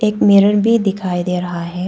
Mirror भी दिखाई दे रहा है।